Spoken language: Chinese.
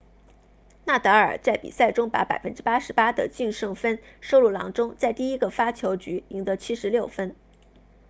纳达尔 nadal 在比赛中把 88% 的净胜分收入囊中在第一个发球局赢得76分